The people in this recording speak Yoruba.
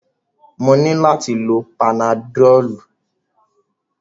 Mo nílò láti lo panadọ́lú.